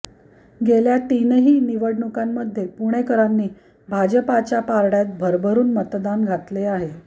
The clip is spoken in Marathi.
गेल्या तीनही निवडणुकांमध्ये पुणेकरांनी भाजपच्या पारड्यात भरभरून मतदान घातले आहे